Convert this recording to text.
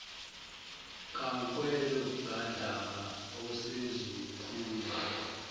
kankwelo kandaba osezokhuma